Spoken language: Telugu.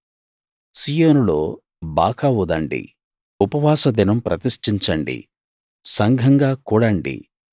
సీయోనులో బాకా ఊదండి ఉపవాసదినం ప్రతిష్ఠించండి సంఘంగా కూడండి